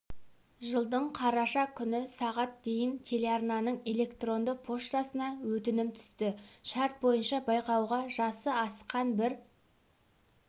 жылдың қарашасы күні сағат дейін телеарнаның электронды поштасына өтінім түсті шарт бойынша байқауға жасы асқан бір